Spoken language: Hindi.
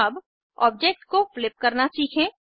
अब ऑब्जेक्ट को फ्लिप करना सीखें